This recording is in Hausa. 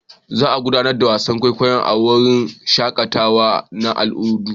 Za a gudanar da wasan kwaikwayon a wurin shakatawa na al'adu.